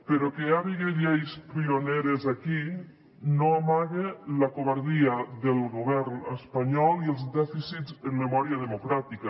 però que hi hagi lleis pioneres aquí no amaga la covardia del govern espanyol i els dèficits en memòria democràtica